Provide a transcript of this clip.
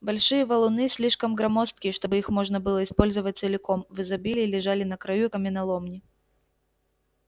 большие валуны слишком громоздкие чтобы их можно было использовать целиком в изобилии лежали на краю каменоломни